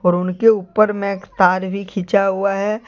उनके ऊपर में एक तार भी खींचा हुआ है।